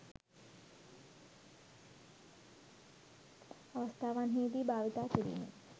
අවස්ථාවන්හි දී භාවිතා කිරීමෙන්